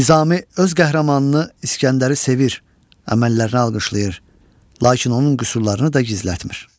Nizami öz qəhrəmanını İsgəndəri sevir, əməllərini alqışlayır, lakin onun qüsurlarını da gizlətmir.